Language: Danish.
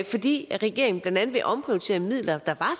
fordi regeringen blandt andet vil omprioritere midler der